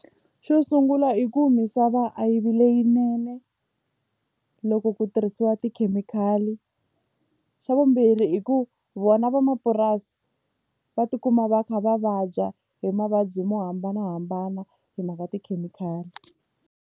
Xo sungula i ku misava a yi vi leyinene loko ku tirhisiwa tikhemikhali xa vumbirhi hi ku vona van'wamapurasi va tikuma va kha va vabya hi mavabyi mo hambanahambana hi mhaka tikhemikhali.